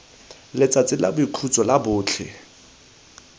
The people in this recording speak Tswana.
letsatsi la boikhutso la botlhe